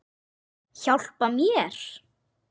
Hjálpa mér!